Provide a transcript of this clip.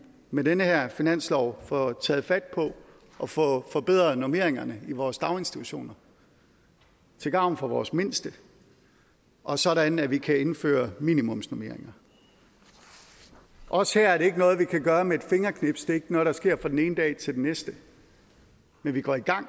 med den her finanslov får taget fat på og får forbedret normeringerne i vores daginstitutioner til gavn for vores mindste og sådan at vi kan indføre minimumsnormeringer også her er det ikke noget vi kan gøre med et fingerknips det er ikke noget der sker fra den ene dag til den næste men vi går i gang